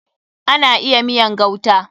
Ana iya miyan gauta.